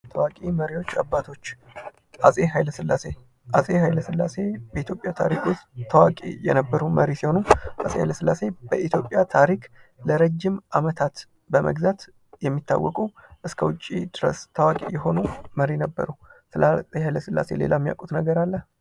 ታዋቂ መሪዎች አባቶች አፄ ኃይለ ሥላሴ አፄ ሀይለስላሴ በኢትዮጵያ ታሪክ ውስጥ አዋቂ የነበሩ መሪ ሲሆኑ ሃይለስላሴ በኢትዮጵያ ታሪክ ለረጅም ዓመታት በመግዛት የሚታወቁ እስከ ውጪ ድረስ ታዋቂ የሆኑ መሪ ነበሩ። ስለ አፄ ኃይለስላሴ ሌላ የሚያውቁት ነገር አለ?